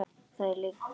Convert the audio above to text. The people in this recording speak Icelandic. Það er lygi!